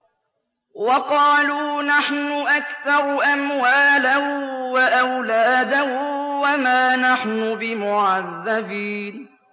وَقَالُوا نَحْنُ أَكْثَرُ أَمْوَالًا وَأَوْلَادًا وَمَا نَحْنُ بِمُعَذَّبِينَ